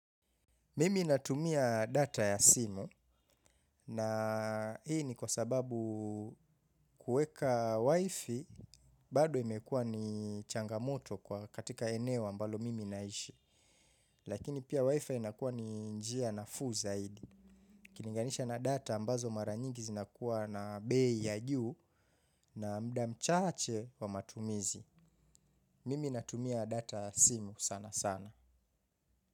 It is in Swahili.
Mimi natumia data ya simu na hii ni kwa sababu kuweka wifi bado imekuwa ni changamoto kwa katika eneo ambalo mimi naishi. Lakini pia wifi inakuwa ni njia nafuu zaidi. Ukilinganisha na data ambazo mara nyingi zinakuwa na bei ya juu na mda mchache wa matumizi. Mimi natumia data ya simu sana sana.